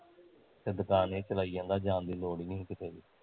ਤੇ ਦੁਕਾਨ ਈ ਚਲਾਈਂ ਜਾਂਦਾ ਜਾਣ ਦੀ ਲੋੜ ਈ ਨੀ ਸੀ ਕਿਤੇ ਵੀ